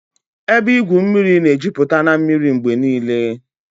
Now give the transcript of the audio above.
Ebe igwu mmiri na-ejupụta na mmiri mgbe niile